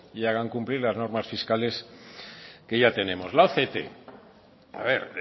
y hagan cumplir las normas fiscales que ya tenemos la oct a ver